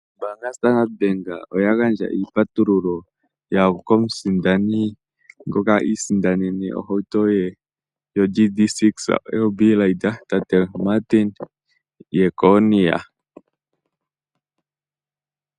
Ombaanga yaStandard Bank oya gandja iipatululo komusindani ngoka i isindanene ohawu to ye yoGD-6 RB Raider, tate Martin Jeckonia.